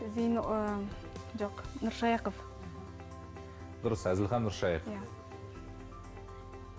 ыыы жоқ нұршайықов дұрыс әзілхан нұршайықов